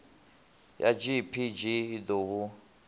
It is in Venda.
ya gpg i ḓo hu